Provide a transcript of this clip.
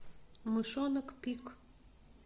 мышонок пик